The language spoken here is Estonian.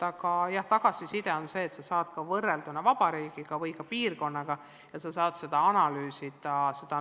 Aga jah, tagasiside on see, et sa saad oma tulemusi võrrelda kogu vabariigi või ka oma piirkonna omadega.